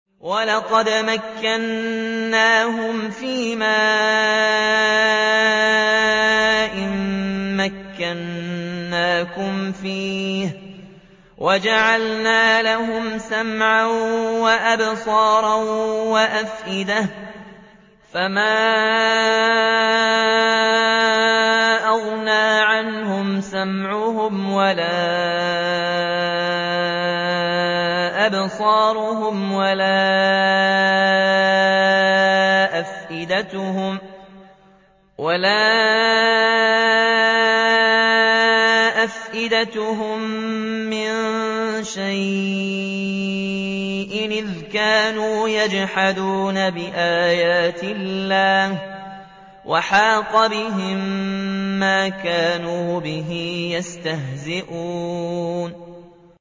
وَلَقَدْ مَكَّنَّاهُمْ فِيمَا إِن مَّكَّنَّاكُمْ فِيهِ وَجَعَلْنَا لَهُمْ سَمْعًا وَأَبْصَارًا وَأَفْئِدَةً فَمَا أَغْنَىٰ عَنْهُمْ سَمْعُهُمْ وَلَا أَبْصَارُهُمْ وَلَا أَفْئِدَتُهُم مِّن شَيْءٍ إِذْ كَانُوا يَجْحَدُونَ بِآيَاتِ اللَّهِ وَحَاقَ بِهِم مَّا كَانُوا بِهِ يَسْتَهْزِئُونَ